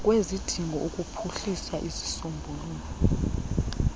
kwezidingo ukuphuhlisa izisombululo